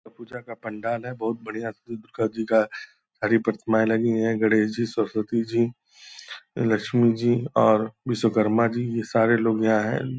यह पूजा का पंडाल है बहुत बढ़िया दुर्गा जी का सारी प्रतिमाए लगी हैं गणेश जी सरस्वती जी लक्ष्मी जी और विश्वकर्मा जी ये सारे लोग यहाँ हैं।